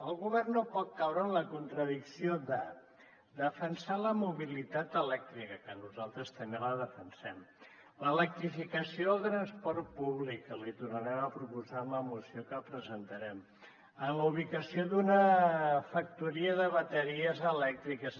el govern no pot caure en la contradicció de defensar la mobilitat elèctrica que nosaltres també la defensem l’electrificació del transport públic que l’hi tornarem a proposar en la moció que presentarem la ubicació d’una factoria de bateries elèctriques